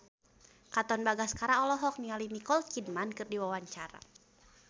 Katon Bagaskara olohok ningali Nicole Kidman keur diwawancara